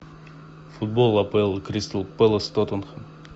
футбол апл кристал пэлас тоттенхэм